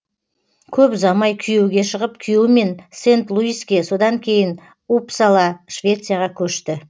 көп ұзамай күйеуге шығып күйеуімен сент луиске содан кейін уппсала швецияға көшті